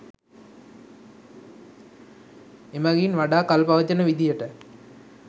එමගින් වඩා කල් පවතින විදියට